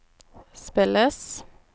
spilles